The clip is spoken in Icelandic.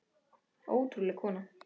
Ótrúleg kona.